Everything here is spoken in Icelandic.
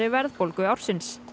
verðbólgu ársins